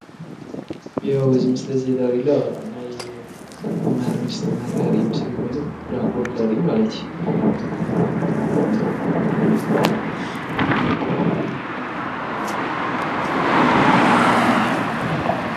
ያው ዝ ምስለ ዘርእሎ ናይ ምምሃር ምስትምሃር ለርእይ ምስል ይኾይኑ ብራክቦርድ ማለት እዩ